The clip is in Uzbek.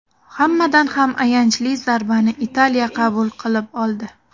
Hammadan ham ayanchli zarbani Italiya qabul qilib oldi.